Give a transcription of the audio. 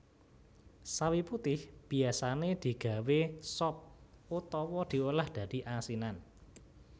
Sawi putih biyasané digawé sop utawa diolah dadi asinan